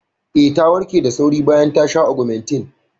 Eh, ta warke da sauri bayan ta sha Ogmentin.